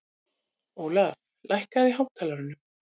Ólaf, lækkaðu í hátalaranum.